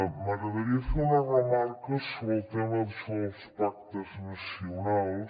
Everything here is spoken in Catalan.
m’agradaria fer una remarca sobre el tema d’això dels pactes nacionals